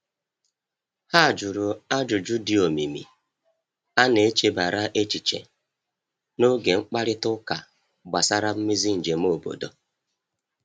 Ha jụrụ ajụjụ dị omimi a n'echebara echiche n’oge mkparịta ụka gbasara mmezi njem obodo.